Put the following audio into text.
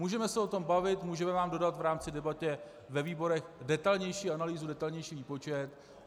Můžeme se o tom bavit, můžeme vám dodat v rámci debaty ve výborech detailnější analýzu, detailnější výpočet.